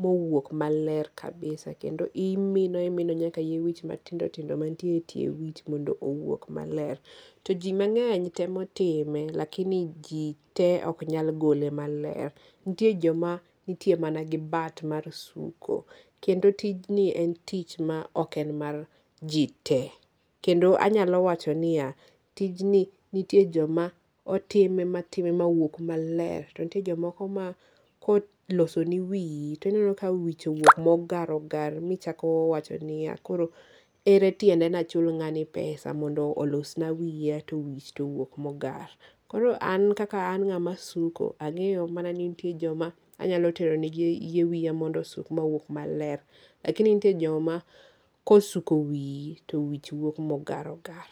ma owuog maler kabisa kendo imino imino nyak yie wich matindo tindo mantiere e tie wich mondo owuok maler to ji mang'eny temo time laikni ji te ok nyal gole maler nitie joma nitie mana gi bat mar suko kendo tijni ok en tich mar ji te kendo anyalo wacho ni a tijni nitie joma otime matime mawuog maler ,to nitie jomoko ma koloso ni wiyi iwuk ka wich owuok mogar ogar michako wacho niya koro ere tiende ne achul ngani pesa mondo olosna wiya to wich to owuok mogar ,koro an kaka ngama suko ang; eyo mana ni nitie joma anyalo tero ne giwiya mondo osuk mondo owuk maler, lakini nitie joma kosuko wiyi to wich wuok mogar ogar.